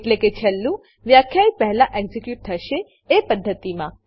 એટલે કે છેલ્લું વ્યાખ્યિત પહેલા એક્ઝીક્યુટ થશે એ પદ્ધતિમાં